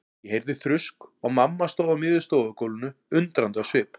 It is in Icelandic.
Ég heyrði þrusk og mamma stóð á miðju stofugólfinu undrandi á svip.